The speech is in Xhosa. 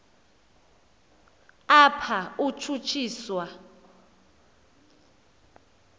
apha utshutshi swa